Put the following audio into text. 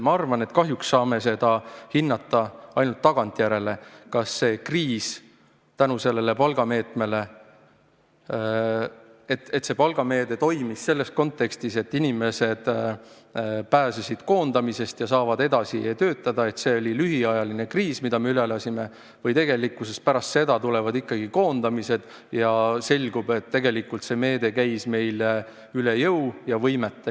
Ma arvan, et kahjuks saame hinnata ainult tagantjärele, kas see palgameede toimis selles kontekstis, et inimesed pääsesid koondamisest ja saavad edasi töötada, kas see oli lühiajaline kriis, mille me üle elasime, või tulevad pärast seda ikkagi koondamised ja selgub, et tegelikult see meede käis meile üle jõu ja võimete.